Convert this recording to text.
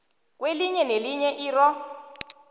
kwelinye nelinye irro